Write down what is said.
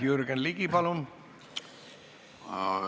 Jürgen Ligi, palun!